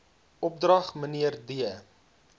opdrag mnr d